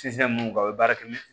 mun kan o bɛ baara kɛ